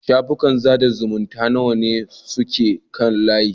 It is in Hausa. Shafukan sada zumunta nawa ne suke kan layi?